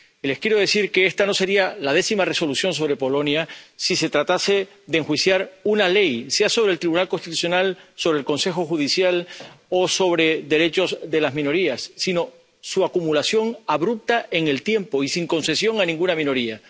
Les quiero decir que esta no sería la décima Resolución sobre Polonia si se tratase de enjuiciar una ley —sea sobre el Tribunal Constitucional, sobre el Consejo Judicial o sobre derechos de las minorías—, pero lo que se enjuicia es su acumulación abrupta en el tiempo y sin concesión a ninguna minoría.